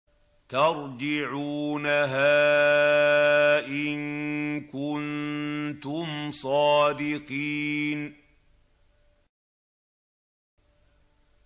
تَرْجِعُونَهَا إِن كُنتُمْ صَادِقِينَ